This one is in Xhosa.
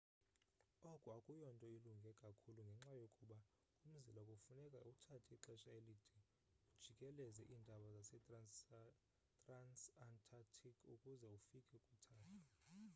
oku akuyonto ilunge kakhulu ngenxa yokuba umzila kufuneka uthathe ixesha elide ujikeleze iintaba zetransantarctic ukuze ufike kwithafa